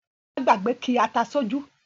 Bọlá gbàgbé ki ata sí ojú